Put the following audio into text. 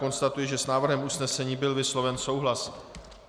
Konstatuji, že s návrhem usnesení byl vysloven souhlas.